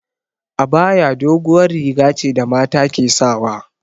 Abaya doguwar riga ce da mata ke sawa